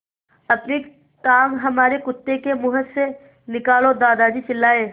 अपनी टाँग हमारे कुत्ते के मुँह से निकालो दादाजी चिल्लाए